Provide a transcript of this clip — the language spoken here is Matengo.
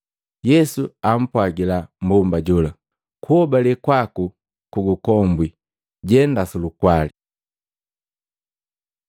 Yesu apwagila mmbomba jola, “Kuhobale kwaku kugukombwi. Jenda sulukwali.”